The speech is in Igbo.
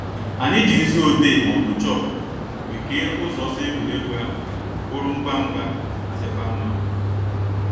Anyị ji nzu odee ma ọbụ chọkụ wee kee ụzọ ọsọ egwuregwu ahụ bụrụ ngwa ngwa ma dịkwa mma